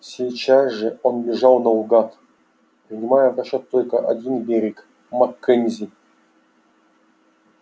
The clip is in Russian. сейчас же он бежал наугад принимая в расчёт только один берег маккензи